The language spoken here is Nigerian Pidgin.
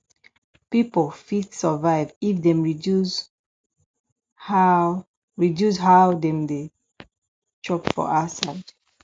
pipo fit survive if dem reduce how reduce how dem take dey chop for outside